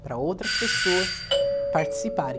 Para outras pessoas participarem.